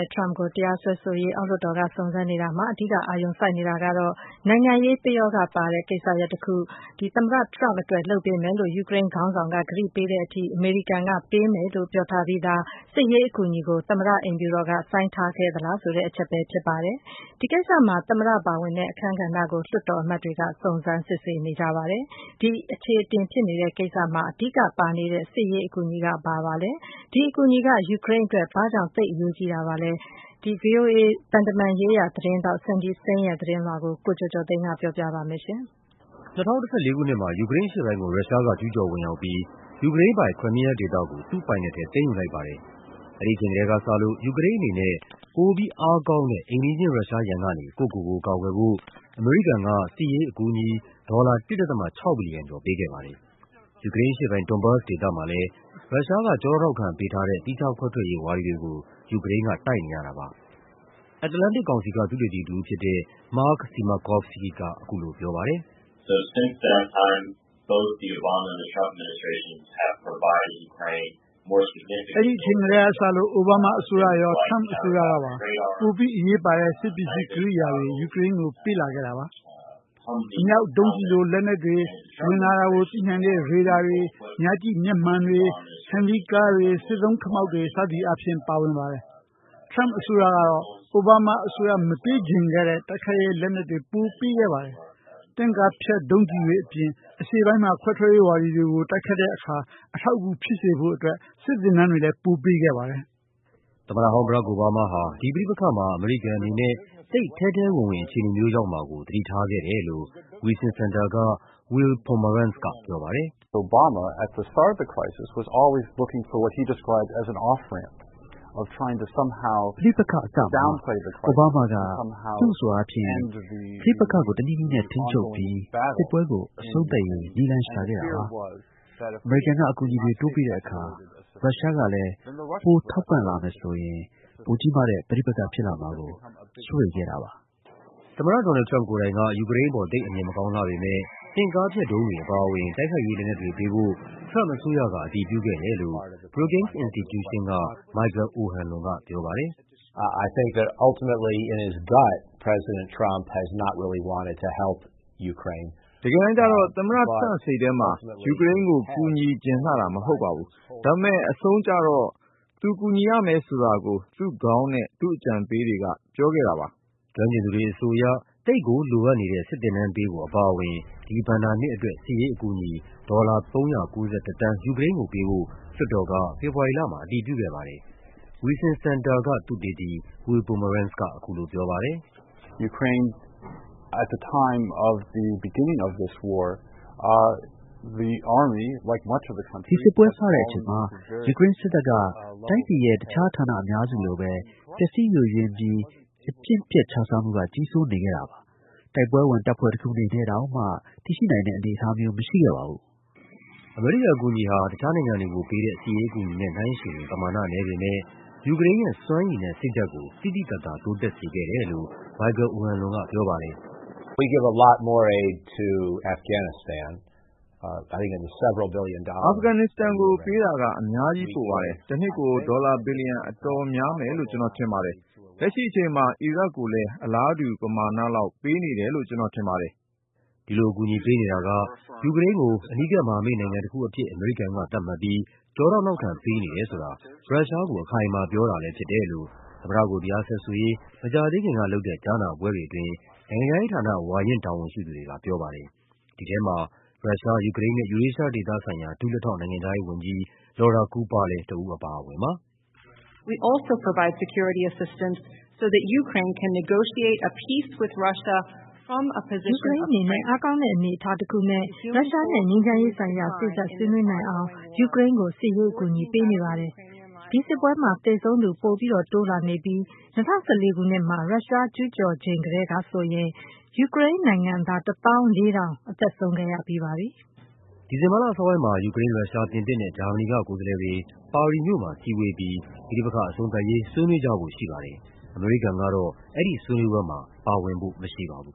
ဒ် ထရမ့်ပ်ကို တရားစွဲဆိုရေး အောက်လွှတ်တော်က စုံစမ်းစစ်ဆေးနေတာမှာ အဓိက အာရုံ စိုက်နေတာကတော့ နိုင်ငံရေး ပယောဂ ပါတဲ့ကိစ္စရပ်တခု သမ္မတထရမ့်ပ်အတွက် လုပ်ပေးမယ်လို့ ယူကရိန်းခေါင်းဆောင်က ကတိ ပေးတဲ့ထိ အမေရိကန်က ပေးမယ်လို့ ပြောထားပြီးသား စစ်ရေးအကူအညီကို သမ္မတအိမ်ဖြူတော်က ဆိုင်းထားခဲ့သလားဆိုတဲ့ အချက်ပဲဖြစ်ပါတယ်။ ဒီကိစ္စမှာ သမ္မတပါဝင်တဲ့ အခန်းကဏ္ဍကို လွှတ်တော်အမတ်တွေက စုံစမ်းစစ်ဆေးနေကြပါတယ်။ ဒီ အခြေ အတင်ဖြစ်နေတဲ့ကိစ္စမှာ အဓိကပါနေတဲ့ စစ်ရေးအကူအညီက ဘာပါလဲ… ဒီအကူအညီက ယူူကရိန်းအတွက် ဘာ့ကြောင့် သိပ် အရေးကြီးတာပါလဲ… ဗွီအိုအေ သံတမန်ရေး သတင်းထောက် Cindy Saine ရဲ့ သတင်းလွှာကို ကိုကျော်ကျော်သိန်းက ပြောပြပါမယ်။ ၂၀၁၄ ခုနှစ်မှာ ယူကရိန်းအရှေ့ပိုင်းကို ရုရှားက ကျူးကျော်ဝင်ရောက်ပြီး ယူကရိန်းပိုင် Crimea ဒေသကို သူ့ပိုင်နက်ထဲ သိမ်းယူလိုက်ပါတယ်။ အဲဒီအချိန်ကတည်းက စလို့ ယူကရိန်းအနေနဲ့ ပိုပြီးအားကောင်းတဲ့ အိမ်နီးချင်း ရုရှားရန်ကနေ ကိုယ့်ကိုယ်ကိုယ် ကာကွယ်ဖို့ အမေရိကန်က စစ်ရေးအကူအညီ ဒေါ်လာ ၁ ဒသမ ၆ ဘီလီယံကျော် ပေးခဲ့ပါတယ်။ ယူကရိန်းအရှေ့ပိုင်း Donbas ဒေသမှာလည်း ရုရှားက ကျောထောက်နောက်ခံပေးထားတဲ့ သီးခြားခွဲထွက်ရေးဝါဒီတွေကို ယူကရိန်းက တိုက်နေရတာပါ။ Atlantic ကောင်စီက သုတေသီတဦးဖြစ်တဲ့ Mark Simakovsky က အခုလိုပြောပါတယ်။ “အဲဒီအချိန်ကတည်းက စလို့ အိုဘားမားအစိုးရရော ထရမ့်ပ်အစိုးရကပါ ပိုပြီးအရေးပါတဲ့ စစ်ပစ္စည်းကိရိယာ တွေ ယူကရိန်းကို ပေးလာတာပါ။ အမြောက်၊ ဒုံးကျည်လို လက်နက်တွေ ဝင်လာတာကိုသိနိုင်တဲ့ ရေဒါတွေ၊ ညကြည့်မျက်မှန် တွေ၊ ဟမ်းမ်ဗီးကားတွေ၊ စစ်သုံးခမောက်တွေ စသည်အားဖြင့် ပါပါတယ်။ ထရမ့်ပ်အစိုးရကတော့ အိုဘားမားအစိုးရ မပေးချင်ခဲ့တဲ့ တိုက်ခိုက်ရေး လက်နက်တွေ ပိုပေးခဲ့ပါတယ်။ တင့်ကားဖျက် ဒုံးကျည်တွေအပြင် အရှေ့ပိုင်းမှာ ခွဲထွက်ရေးဝါဒီတွေကို တိုက်ခိုက် တာမှာ အထောက်အကူဖြစ်စေတဲ့ စစ်သင်တန်းတွေ ပိုပေးခဲ့ပါတယ်။” သမ္မတဟောင်း Barack Obama ဟာ ဒီပဋိပက္ခမှာ အမေရိကန်အနေနဲ့ သိပ်ထဲထဲဝင်ဝင် အခြေအနေမျိုး ရောက်မှာကို သတိထား ခဲ့တယ်လို့ Wilson Center က Will Pomeranz ကပြောပါတယ်။ “ပဋိပက္ခအစမှာ အိုဘားမားက သူ့အဆိုအားဖြင့် ပဋိပက္ခကို တနည်းနည်းနဲ့ ထိန်းချုပ်ပြီး စစ်ပွဲကို အဆုံးသတ် ရေး နည်းလမ်းရှာခဲ့တာပါ။ အမေရိကန်က အကူအညီတွေ တိုးပေးတဲ့အခါ ရုရှားကလည်း ပိုထောက်ပံ့လာမယ် ဆိုရင် ပိုကြီးမားတဲ့ ပဋိပက္ခဖြစ်လာမှာကို စိုးရိမ်ခဲ့တာပါ။” သမ္မတ ဒေါ်နယ်လ်ဒ် ထရမ့်ပ် ကိုယ်တိုင်က ယူကရိန်းအပေါ် သိပ်အမြင် မကောင်းလှပေမယ့် တင့်ကားဖျက်ဒုံးတွေ အပါအဝင် တိုက်ခိုက်ရေး လက်နက်တွေ ပေးဖို့ ထရမ့်ပ်အစိုးရက အတည်ပြုခဲ့တယ်လို့ Brookings Institution က Michael O’Hanlon က ပြောပါတယ်။ “တကယ်တမ်းကျတော့ သမ္မတထရမ့်ပ် စိတ်ထဲမှာ ယူကရိန်းကို ကူညီချင်လှတာ မဟုတ်ပါဘူး။ ဒါပေမယ့် အဆုံးကျတော့ သူကူညီရမယ် ဆိုတာကို သူ့ခေါင်းနဲ့ သူ့အကြံပေးတွေက ပြောခဲ့တာပါ။” ကျွမ်းကျင်သူတွေ အဆိုအရ သိပ်ကို လိုအပ်နေတဲ့ စစ်သင်တန်းပေးဖို့ အပါအဝင် ဒီဘဏ္ဍာနှစ်အတွက် စစ်ရေးအကူအညီ ဒေါ်လာ ၃၉၁ သန်း ယူကရိန်းကို ပေးဖို့ လွှတ်တော်က ဖေဖော်ဝါရီလမှာ အတည်ပြုခဲ့ပါတယ်။ Wilson Center သုတေသီ Will Pomeranz က အခုလိုပြောပါတယ်။ “ဒီစစ်ပွဲစတဲ့ အချိန်မှာ ယူကရိန်းစစ်တပ်ဟာ တိုင်းပြည်ရဲ့ တခြားဌာန အများစုလိုပဲ ပျက်စီယိုယွင်းပြီး အကျင့် ပျက်ခြစားမှုက ကြီးစိုးနေခဲ့ပါတယ်။ တိုက်ပွဲဝင် တပ်ဖွဲ့တခုအနေနဲ့ တောင်မှ တည်ရှိနိုင်တဲ့ အနေအထား မရှိခဲ့ပါဘူး။” အမေရိကန် အကူအညီဟာ တခြားနိုင်ငံတွေကို ပေးတဲ့ စစ်ရေးအကူအညီနဲ့ နှိုင်းယှဉ်ရင် ပမာဏ နည်းပေမယ့် ယူကရိန်းရဲ့ စွမ်းရည်နဲ့ စိတ်ဓာတ်ကို သိသိသာသာ တိုးတက်စေခဲ့တယ်လို့ Michael O’Hanlon ကပြောပါတယ်။ “အာဖဂန်နစ္စတန်ကို ပေးတာက အများကြီးပိုပါတယ်။ တနှစ်ကို ဒေါ်လာ ဘီလီယံ အတော်များမယ်လို့ ကျနော်ထင်တယ်။ လက်ရှိအချိန်မှာ အီရတ်ကိုလည်း အလားတူ ပမာဏလောက် ပေးနေတယ်လို့ ကျနော်ထင်ပါတယ်။” ဒီလိုအကူအညီပေးနေတာက ယူကရိန်းကို အနီးကပ် မဟာမိတ် နိုင်ငံတခုအဖြစ် အမေရိကန်က သတ်မှတ်ပြီး ကျောထောက် နောက်ခံပေးနေတယ် ဆိုတာ ရုရှားကို အခိုင်အမာပြောတာလည်း ဖြစ်တယ်လို့ သမ္မတကို တရားစွဲဆိုရေး မကြာသေးခင်က လုပ်တဲ့ ကြားနာပွဲတွေ အတွင်း နိုင်ငံခြားရေးဌာန ဝါရင့်တာဝန်ရှိသူတွေက ပြောပါတယ်။ ဒီထဲမှာ ရုရှား၊ ယူကရိန်းနဲ့ ယူရေးရှားဒေသဆိုင်ရာ ဒုလက်ထောက် နိုင်ငံခြားရေးဝန်ကြီး Laura Cooper လည်း တဦး အပါအဝင်ပါ။ “ယူကရိန်းအနေနဲ့ အားကောင်းတဲ့ အနေအထားတခုနဲ့ ရုရှားနဲ့ ငြိမ်းချမ်းရေးဆိုင်ရာ စေ့စပ်ဆွေးနွေးနိုင်အောင် ယူကရိန်းကို စစ်ရေးအကူအညီ ပေးနေပါတယ်။ ဒီစစ်ပွဲမှာ သေဆုံးသူ ပိုတိုးလာနေပြီး ၂၀၁၄ ခုနှစ်မှာ ရုရှားကျူးကျော်ချိန် ကတည်းကဆိုရင် ယူကရိန်းနိုင်ငံသား ၁၄,၀၀၀ အသက်ဆုံးခဲ့ရပါပြီ။” ဒီဇင်ဘာလအစောပိုင်းမှာ ယူကရိန်း၊ ရုရှား၊ ပြင်သစ်နဲ့ ဂျာမနီက ကိုယ်စားလှယ်တွေ ပါရီမြို့မှာစည်းဝေးပြီး ပဋိပက္ခအဆုံးသတ် ရေး ဆွေးနွေးကြဖို့ရှိပါတယ်။ အမေရိကန်ကတော့ အဲဒီဆွေးနွေးပွဲမှာ ပါဝင်ဖို့မရှိပါဘူး